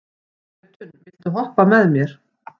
Jötunn, viltu hoppa með mér?